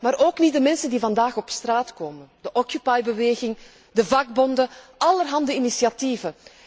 Maar ook niet de mensen die vandaag op straat komen de occupy beweging, de vakbonden en allerhande initiatieven.